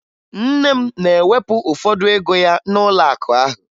Nne m na-ewepụ ụfọdụ ego ya n'ụlọakụ ahụ